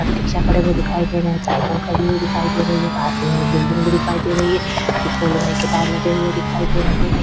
Rickshaw खड़े हुए दिखाई दे रहे हैसाइकिल खड़ी हुई दिखाई दे रही है पास में एक बिल्डिंग भी दिखाई दे रही है इसमें लोहे के टायर लगे हुए दिखाई दे रहे हैं।